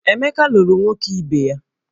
Emeka lụrụ nwoke ibe ya